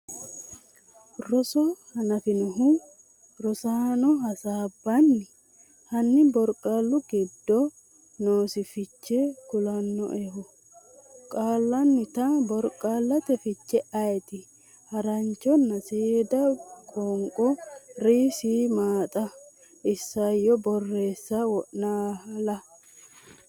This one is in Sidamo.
Roso hanaffinohu Rosaano hasaabbini? Hanni borqaallu giddo noosi fiche kulannoehu • Qaallannita borqaallate fiche ayeeti? • Haranchonna seeda qoonqo Rs Maaxa • Isayyo borreessa Wolena?